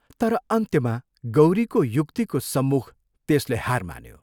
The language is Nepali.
तर अन्त्यमा गौरीको युक्तिको सम्मुख त्यसले हार मान्यो।